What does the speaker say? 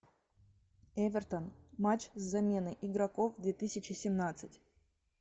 эвертон матч с заменой игроков две тысячи семнадцать